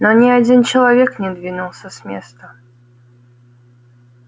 но ни один человек не двинулся с места